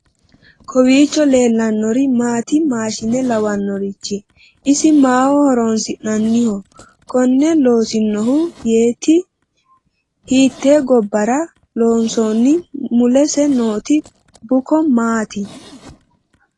kowiicho leellannori maati maashshine lawannoricho . isi maaho horoonsi'nanniho konne loosinohu yetei ? hiitte gobbara loonsonni mulese nooti bukko maa ti ?